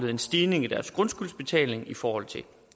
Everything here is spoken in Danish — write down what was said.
en stigning i deres grundskyldsbetaling i forhold til